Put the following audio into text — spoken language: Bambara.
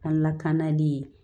An lakanali